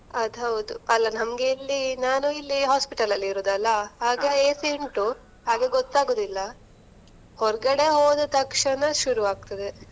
ಅದ್ ಹೌದು. ಅಲಾ ನಮಗೆ ಇಲ್ಲಿ ನಾನು ಇಲ್ಲಿ hospital ಅಲ್ಲಿ ಇರೋದಲ್ಲ, ಹಾಗೆ AC ಉಂಟು ಹಾಗೆ ಗೊತ್ತಾಗುದಿಲ್ಲ, ಹೊರಗಡೆ ಹೋದ ತಕ್ಷಣ ಶುರುವಾಗ್ತದೆ.